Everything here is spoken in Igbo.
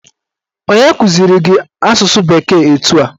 Onye kụziri gị asụsụ bekee etu a?